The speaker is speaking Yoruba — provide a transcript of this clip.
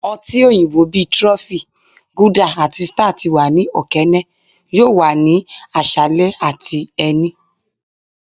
ọti oyinbo bi trophy, guilder ati star ti wa ni okeene yoo wa ni aṣalẹ ati ẹni.